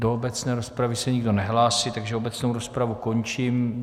Do obecné rozpravy se nikdo nehlásí, takže obecnou rozpravu končím.